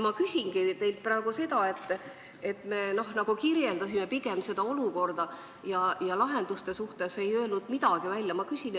Ma küsingi teilt praegu selle kohta, et me kirjeldame pigem olukorda, aga lahenduste suhtes ei ole midagi välja öelnud.